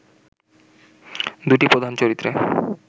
দুটি প্রধান চরিত্রে